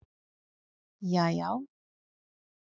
jaajá